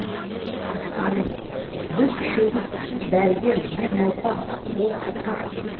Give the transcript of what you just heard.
айым біз үшеуміз сіз дәрігер мен науқас ол сырқат